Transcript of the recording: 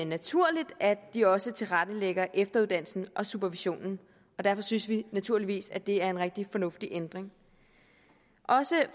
naturligt at de også tilrettelægger efteruddannelsen og supervisionen og derfor synes vi naturligvis at det er en rigtig fornuftig ændring også